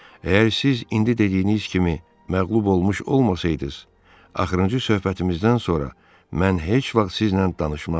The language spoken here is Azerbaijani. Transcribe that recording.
Əgər siz indi dediyiniz kimi məğlub olmuş olmasaydınız, axırıncı söhbətimizdən sonra mən heç vaxt sizlə danışmazdım.